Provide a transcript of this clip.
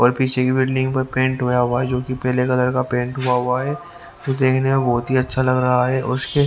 और पीछे की बिल्डिंग पर पेंट हुआ हुआ है जो कि पीले कलर का पेंट हुआ हुआ है जो कि देखने में बहुत ही अच्छा लग रहा है उसके--